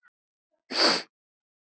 Staðið svona lengi?